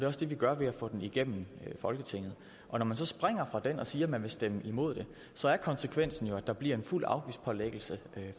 også det vi gør ved at få den igennem folketinget når man så springer fra den og siger at man vil stemme imod den så er konsekvensen jo at der bliver en fuld afgiftspålæggelse den